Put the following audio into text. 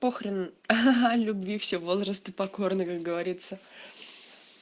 похрен ха-ха любви все возрасты покорны как говорится